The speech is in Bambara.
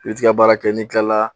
I be t'i ka baara kɛ, n'i tilala